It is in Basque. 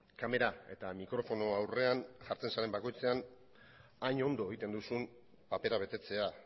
kamera eta mikrofono aurrean jartzen zaren bakoitzean hain ondo egiten duzun papera betetzea